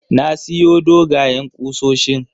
Na siyo dogayen kusoshin